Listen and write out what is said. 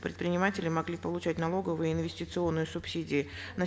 предприниматели могли получать налоговые инвестиционные субсидии на